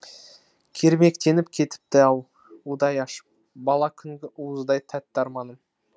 кермектеніп кетіпті ау удай ашып бала күнгі уыздай тәтті арманым